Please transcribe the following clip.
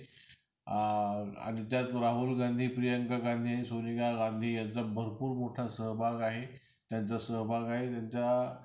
आ आणि त्यात राहुल गांधी, प्रियांका गांधी आणि सोनिया गांधी यांचं भरपूर मोठा सहभाग आहे. त्यांचा सहभाग आहे त्यांच्या